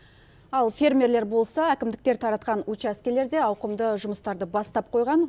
ал фермерлер болса әкімдіктер таратқан учаскелерде ауқымды жұмыстарды бастап қойған